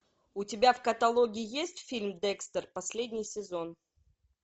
у тебя в каталоге есть фильм декстер последний сезон